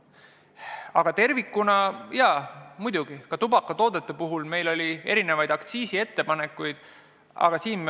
Aga muidugi oli meil ka tubakatoodete aktsiisi kohta erinevaid ettepanekuid.